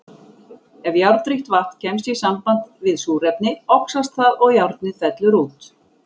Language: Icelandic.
Ef járnríkt vatn kemst í samband við súrefni, oxast það og járnið fellur út.